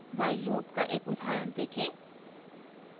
while loop का एक उदाहरण देखें